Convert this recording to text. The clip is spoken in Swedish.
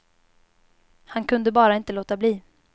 Han kunde bara inte låta bli.